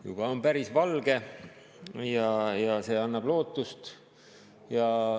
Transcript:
Juba on päris valge ja see annab lootust.